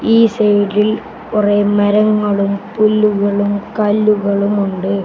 ഈ സൈഡിൽ കുറെ മരങ്ങളും പുല്ലുകളും കല്ലുകളും ഉണ്ട്.